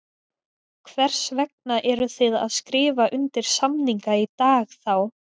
Hvers vegna eruð þið að skrifa undir samninga í dag þá?